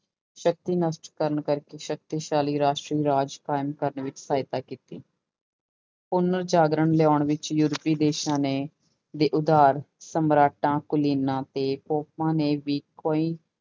ਸ਼ਕਤੀ ਨਸ਼ਟ ਕਰਨ ਕਰਕੇ ਸ਼ਕਤੀਸ਼ਾਲੀ ਰਾਸ਼ਟਰੀ ਰਾਜ ਕਾਇਮ ਕਰਨ ਵਿੱਚ ਸਹਾਇਤਾ ਕੀਤੀ ਪੁਨਰ ਜਾਗਰਣ ਲਿਆਉਣ ਵਿੱਚ ਯੂਰਪੀ ਦੇਸਾਂ ਨੇ ਦੇ ਉਧਾਰ ਸਮਰਾਟਾਂ ਕੁਲੀਨਾਂ ਤੇ ਨੇ ਵੀ ਕੋਈ